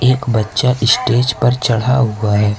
एक बच्चा स्टेज पर चढ़ा हुआ है।